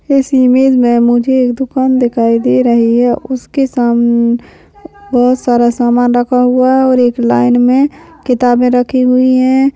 इस इमेज मुझे एक दुकान दिखाई दे रही है उसके साम वह सारा समान रखा हुआ है और एक लाइन मे किताबे रखी हुई है।